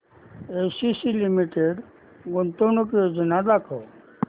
ACC limited गुंतवणूक योजना दाखव